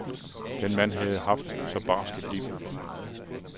Den mand havde haft så barskt et liv.